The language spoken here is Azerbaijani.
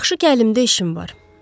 Yaxşı ki, əlimdə işim var.